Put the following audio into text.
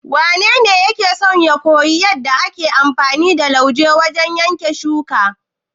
Wanene yake son ya koyi yadda muke amfani da lauje wajen yanke ciyayi?